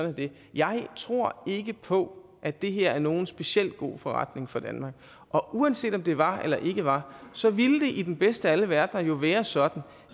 er det jeg tror ikke på at det her er nogen specielt god forretning for danmark og uanset om det var eller det ikke var så ville det jo i den bedste af alle verdener være sådan